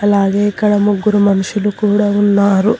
అలాగే ఇక్కడ ముగ్గురు మనుషులు కూడా ఉన్నారు.